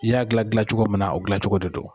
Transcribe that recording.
I y'a gilan dilan cogo min na, o dilancogo de don.